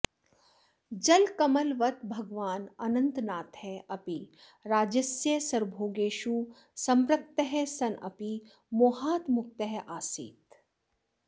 जलकमलवत् भगवान् अनन्तनाथः अपि राज्यस्य सर्वभोगेषु सम्पृक्तः सन् अपि मोहात् मुक्तः आसीत्